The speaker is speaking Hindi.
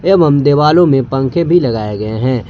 एवं देवालो में पंखे भी लगाए गए हैं।